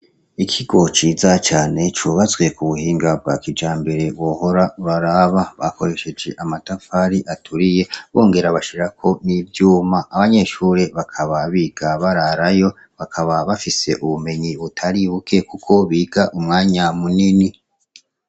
Ikigo ciza cane c' ubatswe ku buhinga bwa kijambere wohora uraraba. Bakoresheje amatafari aturiye bongera bashirako n' ivyuma. Abanyeshure bakaba biga bararayo, bakaba bafise ubumenyi butari buke kuko biga umwanya munini.